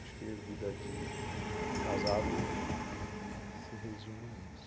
Acho que a vida de casado se resume nisso.